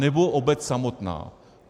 Anebo obec samotná.